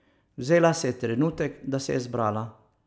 Vzela si je trenutek, da se je zbrala.